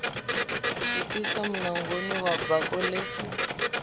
swikisa munangoni wa bako ḽe